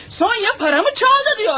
Sonya pulumu oğurladı deyir.